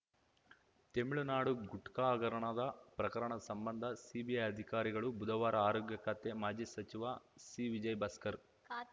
ತಮಿಳುನಾಡಿನ ಗುಟ್ಕಾ ಹಗರಣದ ಪ್ರಕರಣ ಸಂಬಂಧ ಸಿಬಿಐ ಅಧಿಕಾರಿಗಳು ಬುಧವಾರ ಆರೋಗ್ಯ ಖಾತೆ ಮಾಜಿ ಸಚಿವ ಸಿವಿಜಯಭಾಸ್ಕರ್‌